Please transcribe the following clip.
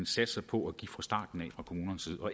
satser på at give fra starten af